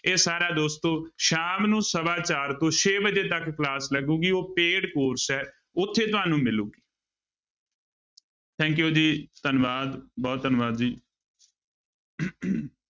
ਇਹ ਸਾਰਾ ਦੋਸਤੋ ਸ਼ਾਮ ਨੂੰ ਸਵਾ ਚਾਰ ਤੋਂ ਛੇ ਵਜੇ ਤੱਕ class ਲੱਗੇਗੀ, ਉਹ paid course ਹੈ ਉੱਥੇ ਤੁਹਨੂੰ ਮਿਲੂਗੀ thank you ਜੀ ਧੰਨਵਾਦ ਬਹੁਤ ਧੰਨਵਾਦ ਜੀ